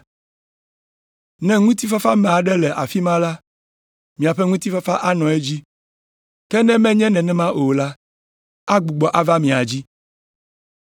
Ne ŋutifafame aɖe le afi ma la, miaƒe ŋutifafa anɔ edzi; ke ne menye nenem o la, agbugbɔ ava mia dzi.